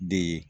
De ye